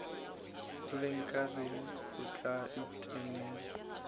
le nkareng o tla ntemela